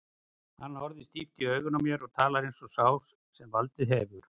Hann horfir stíft í augun á mér og talar eins og sá sem valdið hefur.